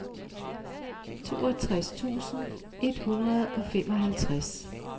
toogtres tusind et hundrede og femoghalvtreds